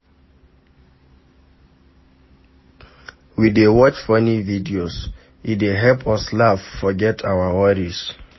We dey watch funny videos, e dey help us laugh forget our worries.